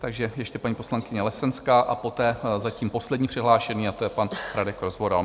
Takže ještě paní poslankyně Lesenská a poté zatím poslední přihlášený a to je pan Radek Rozvoral.